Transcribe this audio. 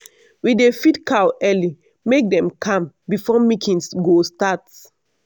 we dey feed cow early make dem calm before milking go start.